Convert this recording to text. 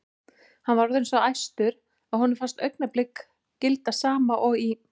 Hann var orðinn svo æstur að honum fannst augnablik gilda sama og í